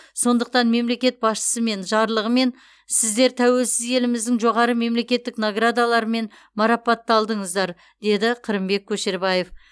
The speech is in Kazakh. сондықтан мемлекет басшысымен жарлығымен сіздер тәуелсіз еліміздің жоғары мемлекеттік наградаларымен марапатталдыңыздар деді қырымбек көшербаев